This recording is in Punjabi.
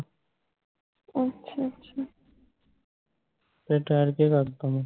ਫੇਰ ਠਹਿਰ ਕੇ ਕਰਦਾ ਵਾਂ